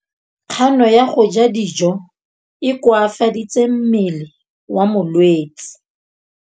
Kganô ya go ja dijo e koafaditse mmele wa molwetse.